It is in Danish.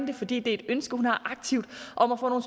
det fordi det er et ønske hun har aktivt om at få nogle